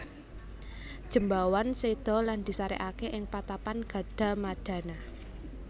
Jembawan séda lan disarèkaké ing patapan Gadamadana